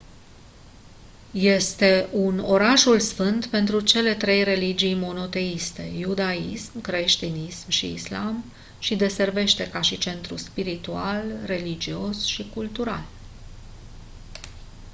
este un orașul sfânt pentru cele trei religii monoteiste iudaism creștinism și islam și deservește ca și centru spiritual religios și cultural